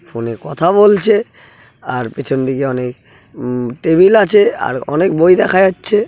ফোনে কথা বলছে | আর পিছন দিকে অনেক উম টেবিল আছে | আর অনেক বই দেখা যাচ্ছে।